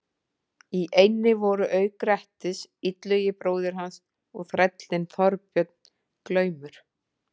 Í eynni voru auk Grettis, Illugi bróðir hans og þrællinn Þorbjörn glaumur.